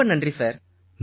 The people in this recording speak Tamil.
ரொம்ப நன்றி சார்